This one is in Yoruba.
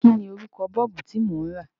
Kí ni orúkọ Bọ́ọ̀bù tí mò ń rà?